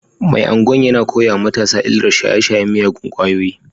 Mai Agwan yana koya wa matasa illar shaye-shayen miyagun kwayoyi